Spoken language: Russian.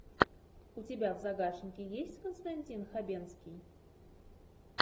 у тебя в загашнике есть константин хабенский